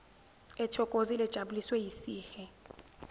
ethokozile ejabuliswe yisihe